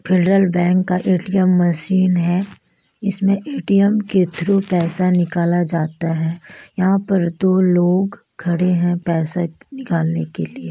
Federal Bank का ATM machine है इसमें ए_टी_एम के थ्रू पैसा निकाला जाता है यहाँ पर दो लोग खड़े हैं पैसा निकालने के लिए।